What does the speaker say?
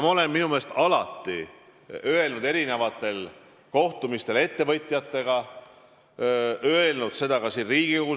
Ma olen oma meelest alati öelnud siin Riigikogu saalis ja ka kohtumistel ettevõtjatega, et nende panus on suur.